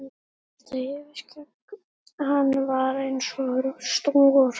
Og þetta yfirskegg, hann var eins og rostungur.